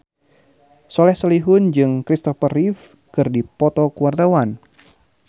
Soleh Solihun jeung Kristopher Reeve keur dipoto ku wartawan